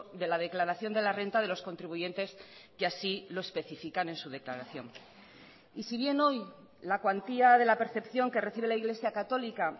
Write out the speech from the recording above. de la declaración de la renta de los contribuyentes que así lo especifican en su declaración y si bien hoy la cuantía de la percepción que recibe la iglesia católica